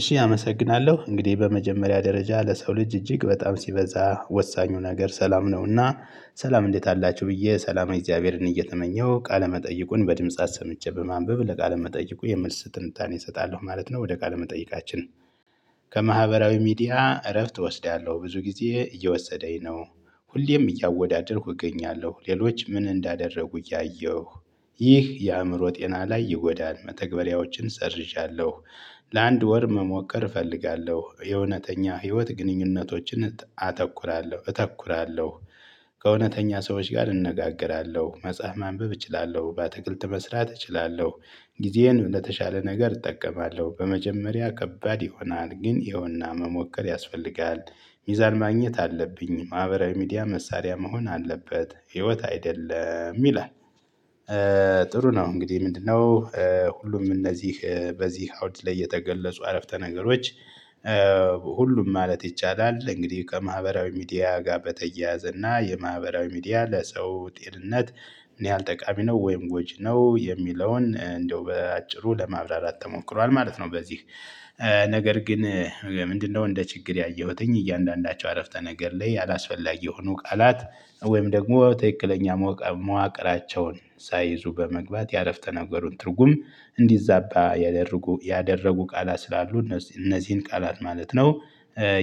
እሺ አመሰግናለሁ እንግዲህ በመጀመሪያ ደረጃ ለሰው ልጅ እጅግ በጣም ሲበዛ ወሳኙ ነገር ሰላም ነውና ሰላም እንዴት አላችሁ ብዬ ሰላማዊ እግዚአብሔርን እየተመኘሁ ቃለ መጠይቁን በድምጽ አሰምቼ በማንበብ ለቃለ መጠይቁ የምልስ ትንታኔ እሰጣለሁ ማለት ነው። ወደ ቃል መጠይቃችን ከማህበራዊ ሚዲያ እረፍት እወስዳለሁ ብዙ ጊዜ እየወሰደኝ ነው። ሁሌም እያወዳደርኩ እገኛለሁ ሌሎች ምን እንዳደረጉ እያየሁ። ይህ የአእምሮ ጤና ላይ ይጎዳል። መተግበሪያዎችን ሰርዣለሁ። ለአንድ ወር መሞከር እፈልጋለሁ የእውነተኛ ህይወት ግንኙነቶችን አተኩራለሁ እተኩራለሁ። ከእውነተኛ ሰዎች ጋር እንነጋገራለሁ መጽሐፍ ማንበብ እችላለሁ በአትክልት መስራት እችላለሁ። ጊዜዬን ለተሻለ ነገር እጠቀማለሁ በመጀመሪያ ከባድ ይሆናል ግን ይኸውና መሞከር ያስፈልጋል። ሚዛን ማግኘት አለብኝ ማህበራዊ ሚዲያ መሳሪያ መሆን አለበት ህይወት አይደለም ይላል። ጥሩ ነው እንግዲህ ምንድነው? ሁሉም እነዚህ በዚህ አውድ ላይ የተገለጹ አረፍተ ነገሮች። ሁሉም ማለት ይቻላል። እንግዲህ ከማህበራዊ ሚዲያ ጋር በተያያዘ እና የማህበራዊ ሚዲያ ለሰው ጤንነት። ምን ያህል ጠቃሚ ነው ወይም ጎጅ ነው የሚለውን እንዳው በአጭሩ ለማብራራት ተሞክሯል ማለት ነው። በዚህ ነገር ግን ምንድነው? እንደ ችግር ያየሁትኝ እያንዳንዳቸው አረፍተ ነገር ላይ ያላስፈላጊ የሆኑ ቃላት። ወይም ደግሞ ተክክለኛ መዋቅራቸውን ሳይይዙ በመግባት ያረፍተ ነገሩን ትርጉም እንዲዛባ ያደረጉ ያደረጉ ቃላት ስላሉ እነዚህን ቃላት ማለት ነው።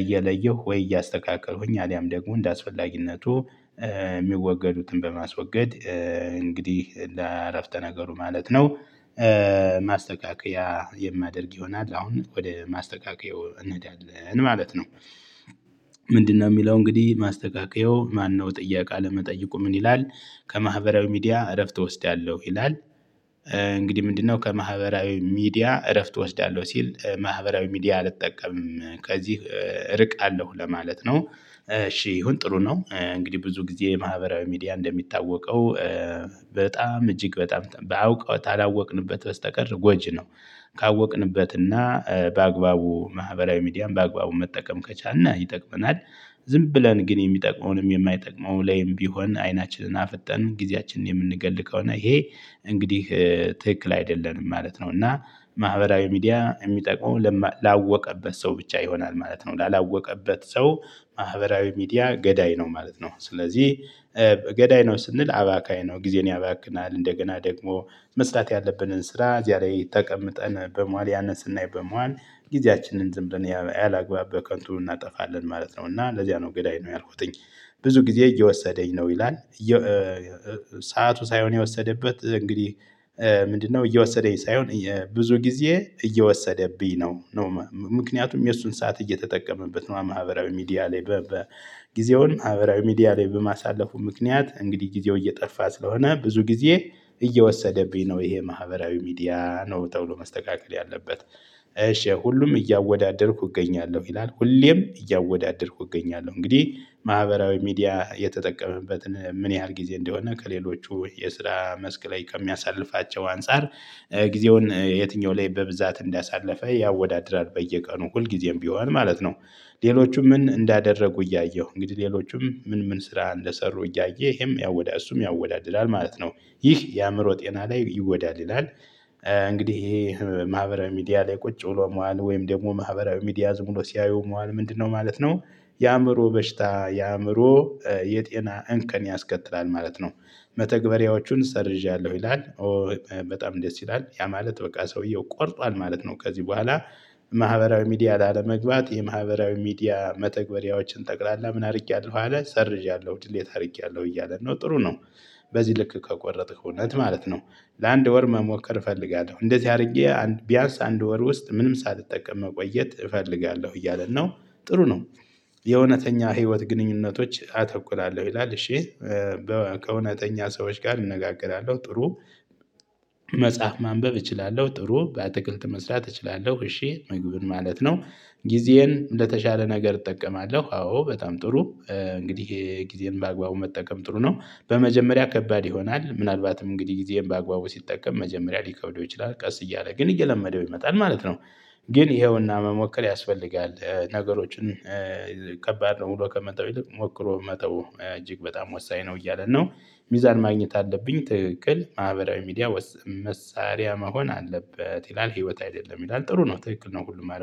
እየለየሁ ወይ እያስተካከሉኝ አሊያም ደግሞ እንደአስፈላጊነቱ። እሚወገዱትን በማስወገድ እንግዲህ ለአረፍተ ነገሩ ማለት ነው። ማስተካከያ የማደርግ ይሆናል አሁን ወደ ማስተካከያው እንሄዳለን ማለት ነው። ምንድነው? ሚለው እንግዲህ ማስተካከያው ማነው ጥያቃ አለመጠየቁ ምን ይላል። ከማህበራዊ ሚዲያ እረፍት እወስዳለሁ ይላል። እንግዲህ ምንድነው ከማህበራዊ ሚዲያ እረፍት እወስዳለሁ ሲል ማህበራዊ ሚዲያ አልጠቀምም ከዚህ እርቃለሁ ለማለት ነው። እሺ ይሁን ጥሩ ነው። እንግዲህ ብዙ ጊዜ ማህበራዊ ሚዲያ እንደሚታወቀው። በጣም እጅግ በጣም ባውቀው ታላወቅንበት በስተቀር ጎጂ ነው። ካወቅንበትና በአግባቡ ማህበራዊ ሚዲያም በአግባቡ መጠቀም ከቻልን ይጠቅመናል። ዝም ብለን ግን የሚጠቅመውንም የማይጠቅመውንም ላይም ቢሆን አይናችንን አፈጠንን ጊዜያችንን የምንገል ከሆነ ይሄ እንግዲህ ትክክል አይደለንም ማለት ነው። እና ማህበራዊ ሚዲያ እሚጠቅመው ላወቀበት ሰው ብቻ ይሆናል ማለት ነው። ላላወቀበት ሰው ማህበራዊ ሚዲያ ገዳይ ነው ማለት ነው። ስለዚህ። ገዳይ ነው ስንል አባካኝ ነው ጊዜን ያባክናል እንደገና ደግሞ መስራት ያለብንን ስራ እዚያ ላይ ተቀምጠን በመዋል ያነን ስናይ በመዋል ጊዜያችንን ዝም ብለን ያላግባብ በከንቱ እናጠፋለን ማለት ነው። እና ለዚያ ነው ገዳይ ነው ያልኩትኝ። ብዙ ጊዜ እየወሰደኝ ነው ይላል። ሰዓቱ ሳይሆን የወሰደበት እንግዲህ ምንድነው? እየወሰደኝ ሳይሆን ብዙ ጊዜ እየወሰደብኝ ነው። ምክንያቱም የእሱን ሰዓት እየተጠቀመበት ነው ማህበራዊ ሚዲያ ላይ በጊዜውን ማህበራዊ ሚዲያ ላይ በማሳለፉ ምክንያት እንግዲህ ጊዜው እየጠፋ ስለሆነ ብዙ ጊዜ እየወሰደብኝ ነው። ይሄ ማህበራዊ ሚዲያ ነው ተብሎ መስተካከል ያለበት። እሺ ሁሉም እያወዳደርኩ እገኛለሁ ይላል ሁሌም እያወዳደርኩ እገኛለሁ እንግዲህ ማህበራዊ ሚዲያ የተጠቀመበትን ምን ያህል ጊዜ እንደሆነ ከሌሎቹ የስራ መስክ ላይ ከሚያሳልፋቸው አንፃር ጊዜውን የትኛው ላይ በብዛት እንዳሳለፈ ያወዳድራል በየቀኑ ሁልጊዜም ቢሆን ማለት ነው። ሌሎቹም ምን እንዳደረጉ እያየሁ እንግዲህ ሌሎቹም ምን ምን ስራ እንደሰሩ እያየ ይሄም ያወዳድላል እሱም ያወዳድላል ማለት ነው። ይህ የአእምሮ ጤና ላይ ይወዳድላል። እንግዲህ ይሄ ማህበራዊ ሚዲያ ላይ ቁጭ ብሎ መዋል ወይም ደግሞ ማህበራዊ ሚዲያ ዝም ብሎ ሲያዩ መዋል ምንድነው? ማለት ነው። የአእምሮ በሽታ የአእምሮ የጤና እንከን ያስከትላል ማለት ነው። መተግበሪያዎቹን ሰርዣለሁ ይላል። ኦ በጣም ደስ ይላል ያ ማለት በቃ ሰውየው ቆርጧል ማለት ነው። ከዚህ በኋላ ማህበራዊ ሚዲያ ላለመግባት የማህበራዊ ሚዲያ መተግበሪያዎችን ጠቅላላ ምን አርጊያለሁ አለ ሰርዣለሁ ድሌት አርጊያለሁ እያለ ነው ጥሩ ነው። በዚህ ልክ ከቆረጥክ እውነት ማለት ነው። ለአንድ ወር መሞከር እፈልጋለሁ እንደዚህ አድርጌ ቢያንስ አንድ ወር ውስጥ ምንም ሳትጠቀም መቆየት እፈልጋለሁ እያለን ነው። ጥሩ ነው። የእውነተኛ ህይወት ግንኙነቶች አተኩላለሁ ይላል እሺ። ከእውነተኛ ሰዎች ጋር እነጋገራለሁ ጥሩ። መጽሐፍ ማንበብ እችላለሁ ጥሩ በአትክልት መስራት እችላለሁ እሺ ምግቡን ማለት ነው። ጊዜዬን ለተሻለ ነገር እጠቀማለሁ አዎ በጣም ጥሩ። እንግዲህ ጊዜየን በአግባቡ መጠቀም ጥሩ ነው በመጀመሪያ ከባድ ይሆናል ምናልባትም እንግዲህ ጊዜም በአግባቡ ሲጠቀም መጀመሪያ ሊከብደው ይችላል ቀስ እያለ ግን እየለመደው ይመጣል ማለት ነው። ግን ይኸውና መሞከር ያስፈልጋል። ነገሮችን ከባድ ነው ብሎ ከመተው ይልቅ ሞክሮ መተው እጅግ በጣም ወሳኝ ነው እያለ ነው። ሚዛን ማግኘት አለብኝ ትክክል ማህበራዊ ሚዲያ መሳሪያ መሆን አለበት ይላል። ህይወት አይደለም ይላል። ጥሩ ነው ትክክል ነው። ሁሉም